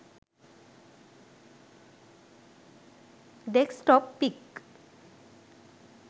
desktop pic